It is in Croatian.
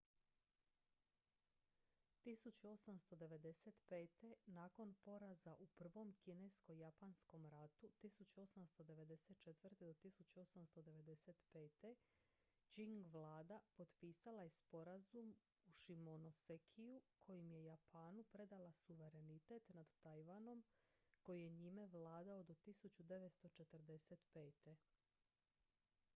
1895. nakon poraza u prvom kinesko-japanskom ratu 1894. - 1895. qing vlada potpisala je sporazum u shimonosekiju kojim je japanu predala suverenitet nad tajvanom koji je njime vladao do 1945